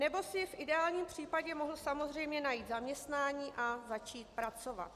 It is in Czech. Nebo si v ideálním případě mohl samozřejmě najít zaměstnání a začít pracovat.